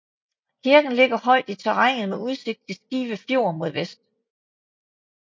Kirken ligger højt i terrænet med udsigt til Skive Fjord mod vest